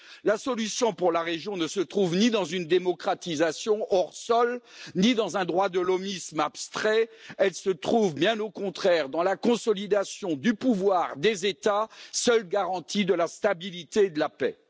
La solution pour la région ne se trouve ni dans une démocratisation hors sol, ni dans un droit de l'hommisme abstrait, elle se trouve, bien au contraire, dans la consolidation du pouvoir des États, seule garantie de la stabilité de la paix.